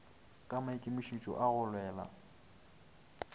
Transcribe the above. ka maikemišitšo a go lwela